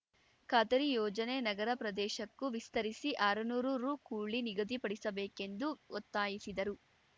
ಖಾತರಿ ಯೋಜನೆ ನಗರ ಪ್ರದೇಶಕ್ಕೂ ವಿಸ್ತರಿಸಿ ಆರು ನೂರು ರು ಕೂಲಿ ನಿಗದಿಪಡಿಸಬೇಕೆಂದು ಒತ್ತಾಯಿಸಿದರು